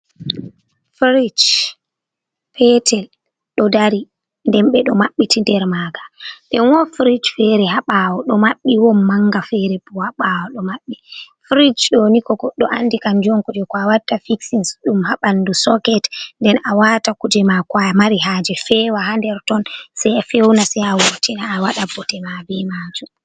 Firij petel ɗo dari nden ɓe ɗo maɓɓiti nder maga. Nden woɗi frij fere ha ɓawo ɗo maɓɓi woɗi manga fere bo ha ɓawo ɗo maɓɓi. Firij doni ko goɗɗo andi kanjum kuje ko a watta fixin ɗum ha ɓandu soket nden a wata kuje mako a mari haje fewa ha nder ton sai a fewna sai a wurtina a waɗa bote ma be majum.